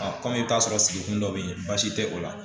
A kɔmi i bɛ t'a sɔrɔ sigi kun dɔ bɛ yen baasi tɛ o la